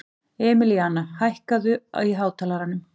Emilíana, hækkaðu í hátalaranum.